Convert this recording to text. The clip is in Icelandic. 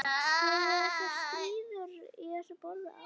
Hafa þessar skýrslur borið árangur?